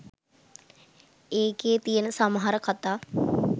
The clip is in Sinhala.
ඒකෙ තියෙන සමහර කතා